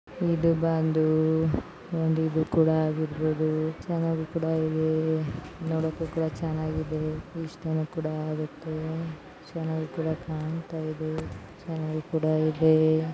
ಇದು ಬಂದು ಒಂದು ಇದು ಕೂಡ ಹಾಗಿರಬಹುದು ಚೆನ್ನಾಗಿ ಕೂಡ ಇದೆ ನೋಡೋಕೆ ಕೂಡ ಚೆನ್ನಾಗಿ ಇದೆ ಇಷ್ಟಾನು ಕೂಡ ಆಗುತ್ತೆ ಚೆನ್ನಾಗಿ ಕೂಡ ಕಾಣ್ತಾ ಇದೆ ಚೆನ್ನಾಗಿ ಕೂಡ ಇದೆ.